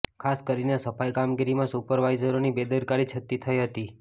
ખાસ કરીને સફાઇ કામગીરીમાં સુપરવાઇઝરોની બેદરકારી છતી થઇ હતી